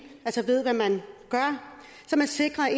altså ved hvad man gør så man sikrer at